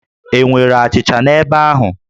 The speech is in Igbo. E nwere achịcha n'ebe ahụ?